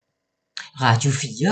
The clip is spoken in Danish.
Radio 4